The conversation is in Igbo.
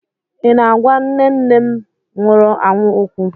Ị na-agwa nne nne nne m nwụrụ anwụ okwu?